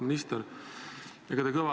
Auväärt minister!